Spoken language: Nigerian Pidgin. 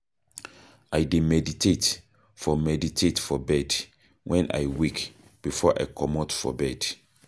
I dey meditate for meditate for bed wen I wake before I comot for bed.